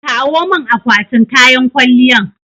Kawo min akwatin kayan kwalliyan